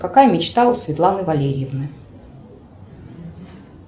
какая мечта у светланы валерьевны